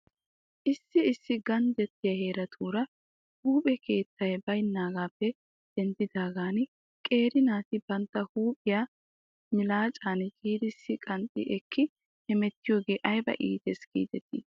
Issi issi ganddattiyaa heeratuura huuphphe keettay baynaagaappe denddidaagan qeeri naati bantta huuphphiyaa milaacan ciirissi qanxxi ekki hemettiyoogee ayba iittes giidetii?